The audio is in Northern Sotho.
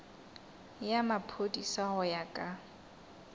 ya maphodisa go ya ka